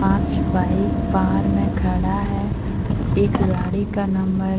पांच बाइक बाहर में खड़ा है एक गाड़ी का नंबर --